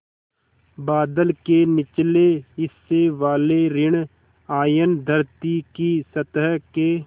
बादल के निचले हिस्से वाले ॠण आयन धरती की सतह के